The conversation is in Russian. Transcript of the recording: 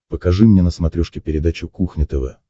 покажи мне на смотрешке передачу кухня тв